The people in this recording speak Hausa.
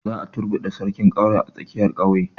Za a turbuɗe sarkin ƙauye a tsakiyar ƙauye